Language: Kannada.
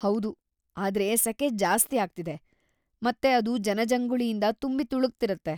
ಹೌದು, ಆದ್ರೆ ಸೆಕೆ ಜಾಸ್ತಿ ಆಗ್ತಿದೆ ಮತ್ತೆ ಅದು ಜನಜಂಗುಳಿಯಿಂದ ತುಂಬಿ ತುಳುಕ್ತಿರತ್ತೆ.